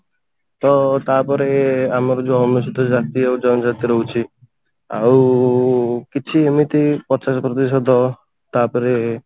ତ ତାପରେ ଆମର ଯଉ ଆମେ ସେଠି ଜାତି ଆଉ ଜାତି ରହୁଛି ଆଉ କିଛି ଏମିତି ପଚାଶ ପ୍ରତିଶତ ତାପରେ